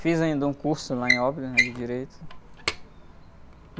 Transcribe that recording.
Fiz ainda um curso lá em, né? De Direito.